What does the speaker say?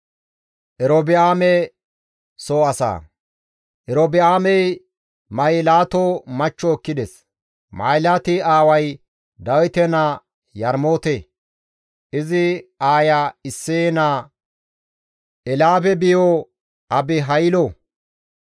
Erobi7aamey Mahilaato machcho ekkides; Mahilaati aaway Dawite naa Yarmoote; izi aaya Isseye naa Elyaabe biyo Abihaylo.